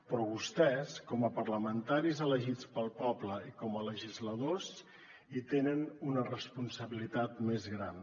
però vostès com a parlamentaris elegits pel poble i com a legisladors hi tenen una responsabilitat més gran